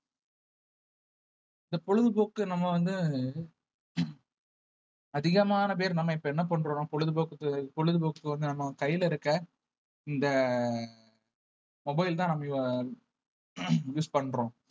இந்த பொழுதுபோக்கு நம்ம வந்து அதிகமான பேர் நம்ம இப்ப என்ன பண்றோம்ன்னா பொழுது போக்குக்கு பொழுது போக்குக்கு வந்து நம்ம கையில இருக்க இந்த mobile தான் நம்ம use பண்றோம்